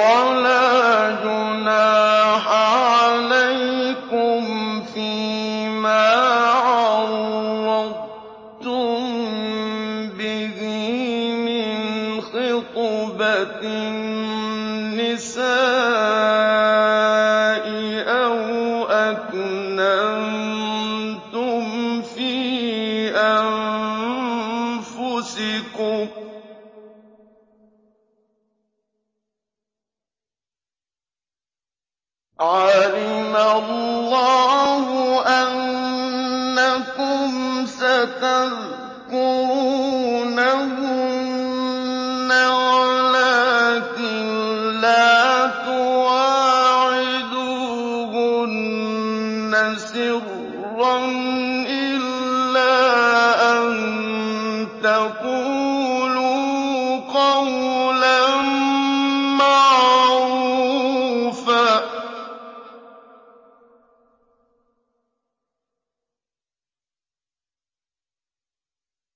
وَلَا جُنَاحَ عَلَيْكُمْ فِيمَا عَرَّضْتُم بِهِ مِنْ خِطْبَةِ النِّسَاءِ أَوْ أَكْنَنتُمْ فِي أَنفُسِكُمْ ۚ عَلِمَ اللَّهُ أَنَّكُمْ سَتَذْكُرُونَهُنَّ وَلَٰكِن لَّا تُوَاعِدُوهُنَّ سِرًّا إِلَّا أَن تَقُولُوا قَوْلًا مَّعْرُوفًا ۚ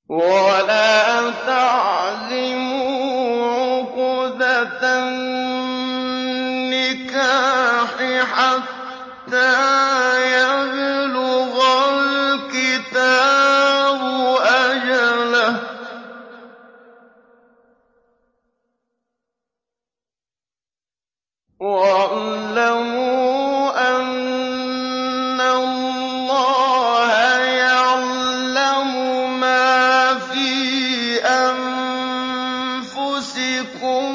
وَلَا تَعْزِمُوا عُقْدَةَ النِّكَاحِ حَتَّىٰ يَبْلُغَ الْكِتَابُ أَجَلَهُ ۚ وَاعْلَمُوا أَنَّ اللَّهَ يَعْلَمُ مَا فِي أَنفُسِكُمْ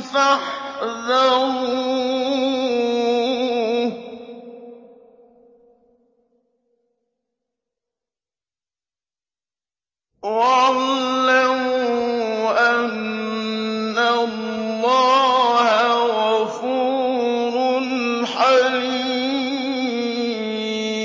فَاحْذَرُوهُ ۚ وَاعْلَمُوا أَنَّ اللَّهَ غَفُورٌ حَلِيمٌ